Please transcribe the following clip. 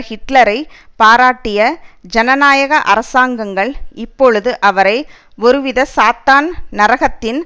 ஹிட்லரை பாராட்டிய ஜனநாயக அரசாங்கங்கள் இப்பொழுது அவரை ஒருவித சாத்தான் நரகத்தின்